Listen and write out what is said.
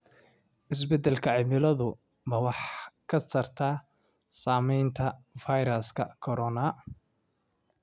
Isbeddelka cimiladu ma wax ka tarta saamaynta fayraska corona?